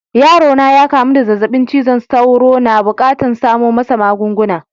Yaro na ya kamu da zazzabin cizon sauro. N'na bukatan samo masa magunguna.